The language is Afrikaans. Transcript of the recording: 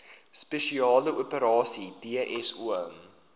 spesiale operasies dso